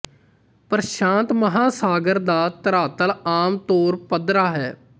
ਪ੍ਰਸ਼ਾਂਤ ਮਹਾਸਾਗਰ ਦਾ ਧਰਾਤਲ ਆਮ ਤੌਰ ਪੱਧਰਾ ਹੈ